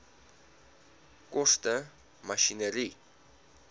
koste masjinerie